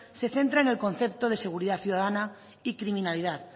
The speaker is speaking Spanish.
se centra en el concepto de seguridad ciudadana y criminalidad